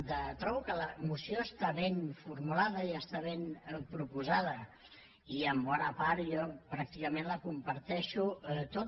trobo que la moció està ben formulada i està ben proposada i en bona part jo pràcticament la comparteixo tota